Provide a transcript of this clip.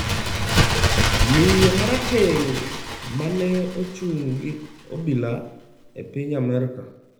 Miyo ma rateng’ ma ne ochung’ gi obila e piny Amerka